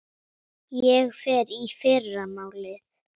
Ég fer í fyrramálið.